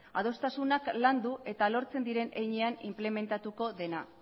adostasunak landu eta lortzen diren heinean inplementatuko dena